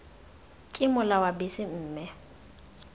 ke mola wa bese mme